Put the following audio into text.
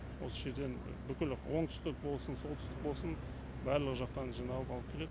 осы жерден бүкіл оңтүстік болсын солтүстік болсын барлық жақтан жиналып алып келед